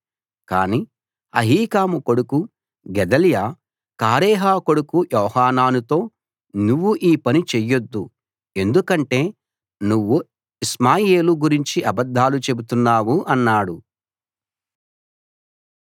కాని అహీకాము కొడుకు గెదల్యా కారేహ కొడుకు యోహానానుతో నువ్వు ఈ పని చెయ్యొద్దు ఎందుకంటే నువ్వు ఇష్మాయేలు గురించి అబద్ధాలు చెబుతున్నావు అన్నాడు